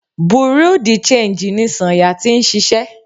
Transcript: Bureau di changii ní Sanya tí ń ṣiṣẹ́.